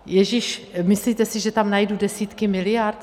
Ježiš, myslíte si, že tam najdu desítky miliard?